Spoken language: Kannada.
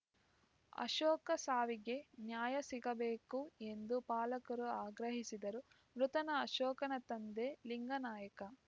ಅಶೋಕ ಸಾವಿಗೆ ನ್ಯಾಯ ಸಿಗಬೇಕು ಎಂದು ಪಾಲಕರು ಆಗ್ರಹಿಸಿದರು ಮೃತನ ಅಶೋಕನ ತಂದೆ ಲಿಂಗನಾಯ್ಕ